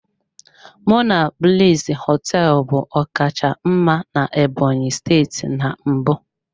Monablis hoteelu bu ọkacha mma na Ebonyi steeti na mbụ.